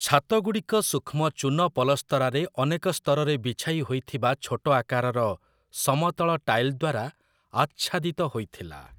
ଛାତଗୁଡ଼ିକ ସୂକ୍ଷ୍ମ ଚୂନ ପଲସ୍ତରାରେ ଅନେକ ସ୍ତରରେ ବିଛାଇହୋଇଥିବା ଛୋଟ ଆକାରର ସମତଳ ଟାଇଲ ଦ୍ଵାରା ଆଚ୍ଛାଦିତ ହୋଇଥିଲା ।